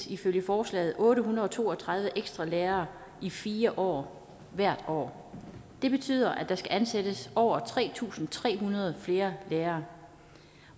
ifølge forslaget ansættes otte hundrede og to og tredive ekstra lærere i fire år hvert år det betyder at der skal ansættes over tre tusind tre hundrede flere lærere